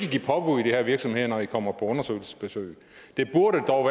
give påbud i de her virksomheder når de kommer på undersøgelsesbesøg det burde dog